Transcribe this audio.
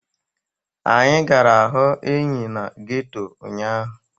Anyị gara hụ enyi na geto ụnyaahụ.